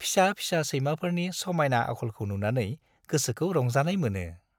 फिसा-फिसा सैमाफोरनि समायना आखलखौ नुनानै गोसोखौ रंजानाय मोनो।